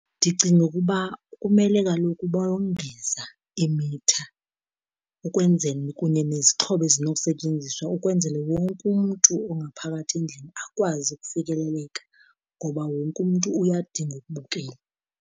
Ndicinga ukuba kumele kaloku bongeza iimitha ukwenzele kunye nezixhobo ezinokusetyenziswa ukwenzele wonke umntu ongaphakathi endlini akwazi ukufikeleleka, ngoba wonke umntu uyadinga ukubukela.